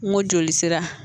N ko joli sira